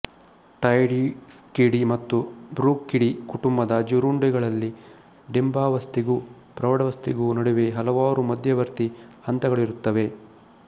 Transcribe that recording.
Dytiscidae ಮತ್ತು Bruchidae ಕುಟುಂಬದ ಜೀರುಂಡೆಗಳಲ್ಲಿ ಡಿಂಬಾವಸ್ಥೆಗೂ ಪ್ರೌಢಾವಸ್ಥೆಗೂ ನಡುವೆ ಹಲವಾರು ಮಧ್ಯವರ್ತಿ ಹಂತಗಳಿರುತ್ತವೆ